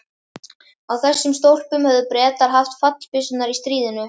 Á þessum stólpum höfðu Bretar haft fallbyssurnar í stríðinu.